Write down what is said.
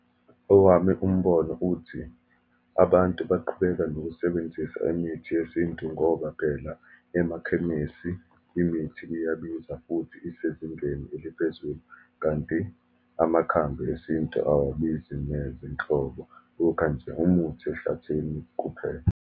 Owami umbono uthi, abantu baqhubeka nokusebenzisa imithi yesintu ngoba phela emakhemesi imithi iyabiza, futhi isezingeni eliphezulu, kanti amakhambi esintu awabizi neze nhlobo, ukha nje umuthi ehlathini kuphela.